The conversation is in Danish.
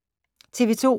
TV 2